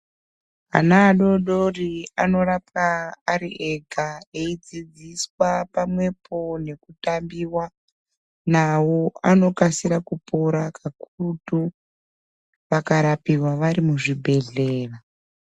Ana adodori anorapwa ariega eidzidziswa pamwepo nekutambiwa navo. Anokasira kupora kakurutu vakarapiwa vari muzvibhedhlera.